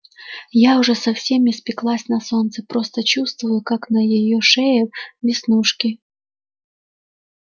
я уже совсем испеклась на солнце просто чувствую как на её шее веснушки